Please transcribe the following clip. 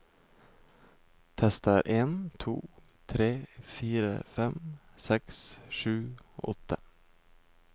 Tester en to tre fire fem seks sju åtte